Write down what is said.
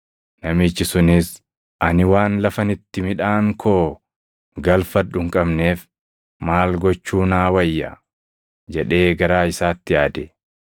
Namichi sunis, ‘Ani waan lafan itti midhaan koo galfadhu hin qabneef maal gochuu naa wayya?’ jedhee garaa isaatti yaade.